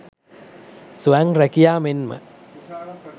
ස්වයං රැකියා මෙන්ම